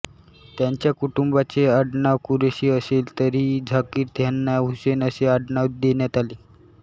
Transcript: त्यांच्या कुटुंबाचे अडनाव कुरेशी असले तरीही झाकीर ह्यांना हुसेन हे आडनाव देण्यात आले